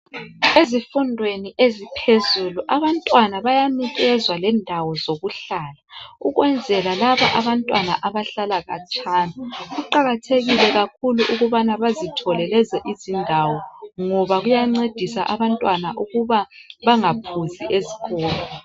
Ezifundweni eziphezulu abantwana bayanikezwa lendawo zokuhlala ukwenzela laba abantwana abahlala katshana. Kuqakathekile kakhulu ukubana bazithole lezi izindawo ngoba kuyancedisa abantwana ukuba bangaphuzi esikolo.